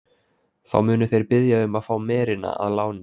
Þá munu þeir biðja um að fá merina að láni.